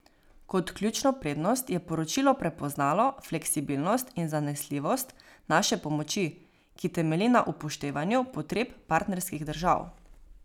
Kot ključno prednost je poročilo prepoznalo fleksibilnost in zanesljivost naše pomoči, ki temelji na upoštevanju potreb partnerskih držav.